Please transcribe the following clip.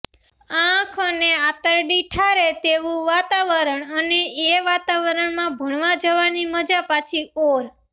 આંખ અને આંતરડી ઠારે તેવું વાતાવરણ અને એ વાતાવરણમાં ભણવા જવાની મજા પાછી ઔર